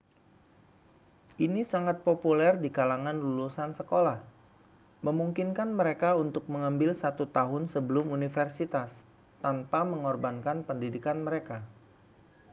ini sangat populer di kalangan lulusan sekolah memungkinkan mereka untuk mengambil satu tahun sebelum universitas tanpa mengorbankan pendidikan mereka